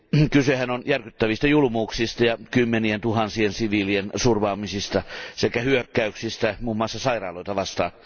Kysehän on järkyttävistä julmuuksista, kymmenientuhansien siviilien surmaamisesta sekä hyökkäyksistä muun muassa sairaaloita vastaan.